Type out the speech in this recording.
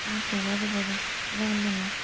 यहाँ पे बड़े-बड़े गमले में --